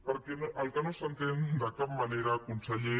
perquè el que no s’entén de cap manera conseller